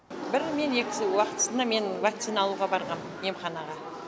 бір мен екісі уақытысында мен вакцина алуға барғам емханаға